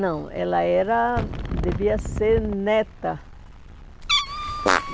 Não, ela era... Devia ser neta.